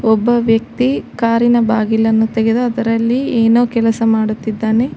ಒಬ್ಬ ವ್ಯಕ್ತಿ ಕಾರ್ ಇನ ಬಾಗಿಲನ್ನು ತೆಗೆದು ಅದರಲ್ಲಿ ಏನೋ ಕೆಲಸ ಮಾಡುತ್ತಿದ್ದಾನೆ.